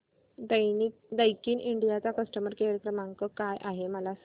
Daikin India चा customer care क्रमांक काय आहे मला सांगा